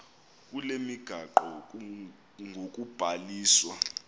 kule migaqo ngokubhaliswa